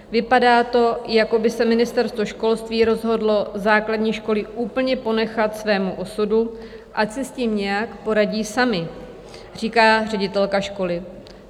Vypadá to, jako by se Ministerstvo školství rozhodlo základní školy úplně ponechat svému osudu, ať si s tím nějak poradí samy," říká ředitelka školy.